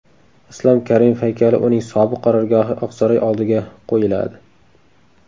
Islom Karimov haykali uning sobiq qarorgohi Oqsaroy oldiga qo‘yiladi .